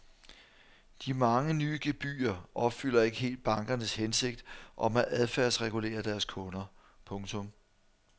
De mange nye gebyrer opfylder ikke helt bankernes hensigt om at adfærdsregulere deres kunder. punktum